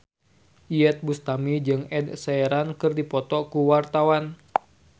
Iyeth Bustami jeung Ed Sheeran keur dipoto ku wartawan